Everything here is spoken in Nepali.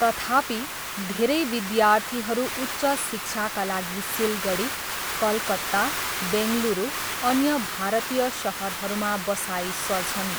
तथापि, धेरै विद्यार्थीहरू उच्च शिक्षाका लागि सिलगढी, कलकत्ता, बेङ्गुरू अन्य भारतीय सहरहरूमा बसाइँ सर्छन्।